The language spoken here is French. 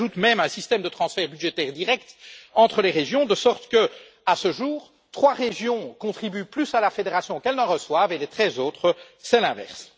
S'y ajoute même un système de transferts budgétaires directs entre les régions, de sorte que, à ce jour, trois régions contribuent plus à la fédération qu'elles ne reçoivent, et les treize autres c'est l'inverse.